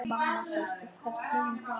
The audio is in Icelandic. Mamma sástu hvernig hún var?